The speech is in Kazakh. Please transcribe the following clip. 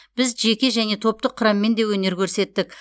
біз жеке және топтық құраммен де өнер көрсеттік